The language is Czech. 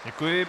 Děkuji.